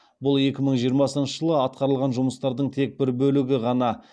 бұл екі мың жиырмасыншы жылы атқарылған жұмыстардың тек бір бөлігі ғана